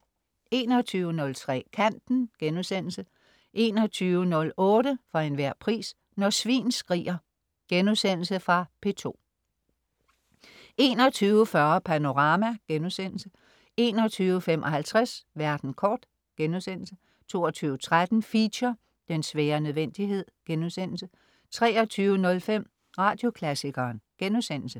21.03 Kanten* 21.08 For enhver pris. Når svin skriger * Fra P2 21.40 Panorama* 21.55 Verden kort* 22.13 Feature: Den svære nødvendighed* 23.05 Radioklassikeren*